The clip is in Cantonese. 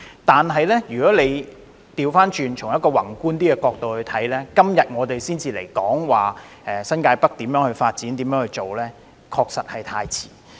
但是，如果反過來從較宏觀的角度看，我們今天才討論如何發展新界北，確實是太遲。